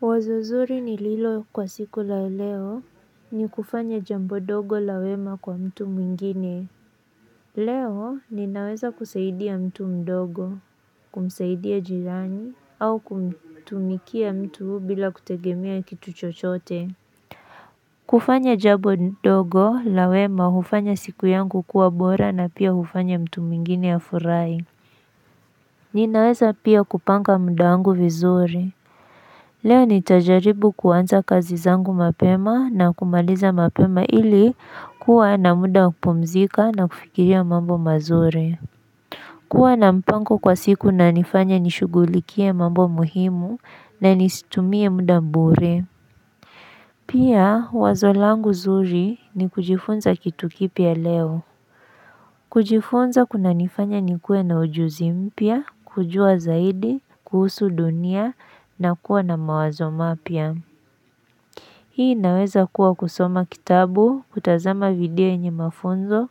Wazo zuri nililo kwa siku la leo ni kufanya jambo dogo la wema kwa mtu mwingine Leo ninaweza kusaidia mtu mdogo kumsaidia jirani au kumtumikia mtu bila kutegemea kitu chochote kufanya jambo dogo la wema hufanya siku yangu kuwa bora na pia hufanya mtu mwingine afurahi Ninaweza pia kupanga mda wangu vizuri Leo nitajaribu kuanza kazi zangu mapema na kumaliza mapema ili kuwa na muda wa kupumzika na kufikiria mambo mazuri. Kuwa na mpango kwa siku nanifanya nishugulikie mambo muhimu na nisitumie muda bure. Pia wazo langu zuri ni kujifunza kitu kipya leo. Kujifunza kunanifanya nikue na ujuzi mpya, kujua zaidi, kuhusu dunia na kuwa na mawazo mapya. Hii naweza kuwa kusoma kitabu, kutazama video enye mafunzo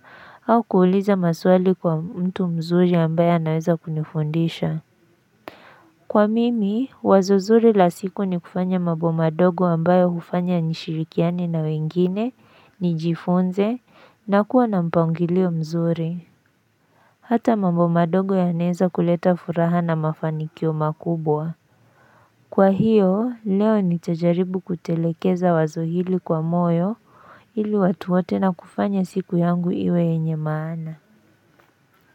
au kuuliza maswali kwa mtu mzuri ambayo anaweza kunifundisha. Kwa mimi, wazo zuri la siku ni kufanya mambo madogo ambayo hufanya nishirikiane na wengine, nijifunze, na kuwa na mpangilio mzuri. Hata mambo madogo yanaeza kuleta furaha na mafanikio makubwa. Kwa hiyo, leo nitajaribu kutelekeza wazo hili kwa moyo ili watu wote na kufanya siku yangu iwe yenye maana.